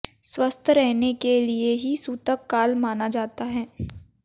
स्वस्थ रहने के लिए ही सूतक काल माना जाता है